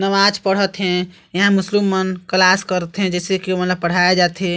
नमाज पढ़त हे इहाँ मुस्लिम मन क्लास करथे जैसे की ओमन ल पढ़ाए जाथे।